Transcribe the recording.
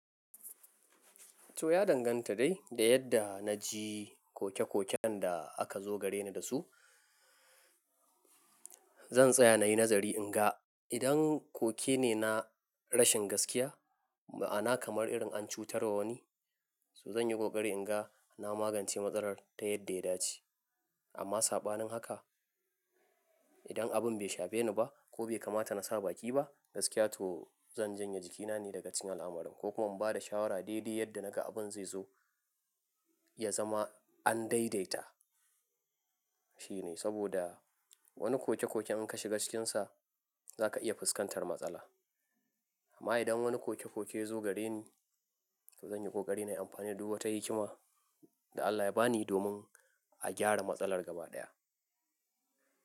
To ya danganta dai da yadda na ji koke-koken da aka zo gare ni da su. Zan tsaya na yi nazari in ga idan koke ne na rashin gaskiya, ma'ana kamar irin an cutar wa wani, to zan yi kokari in ga na magance matsalar ta yadda ya dace. Amma sabanin haka idan abin bai shafe ni ba ko bai kamata na sa baki ba gaskiya, to zan janye jikina ne daga cinal amarin ko kuma in bada shawara daidai yadda na ga abin zai zo ya zama an daidaita. Shi ne saboda wani koke-koke in ka shiga cikin sa za ka iya fuskantar matsala. Amma idan wani koke-koke ya zo gare ni, to zan yi kokari na yi amfani da duk wata hikima da Allah ya ba ni domin a gyara matsalar gaba ɗaya.